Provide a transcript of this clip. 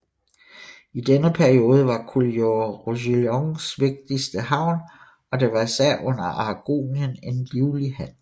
I denne periode var Collioure Roussillons vigtigste havn og der var især under Aragonien en livlig handel